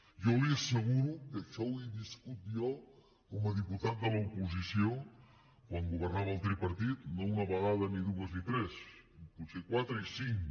jo li asseguro que això ho he viscut jo com a diputat de l’oposició quan governava el tripartit no una vegada ni dues ni tres potser quatre i cinc